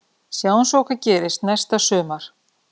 Sjáum svo hvað gerist næsta sumar.